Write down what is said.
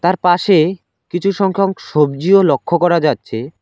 পাশে কিছু সংখ্যক সব্জিও লক্ষ্য করা যাচ্ছে।